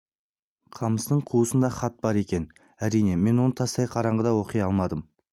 қамыстың қуысында хат бар екен әрине мен оны тастай қараңғыда оқи алмадым